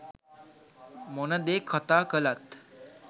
මොන දේ කතා කළත්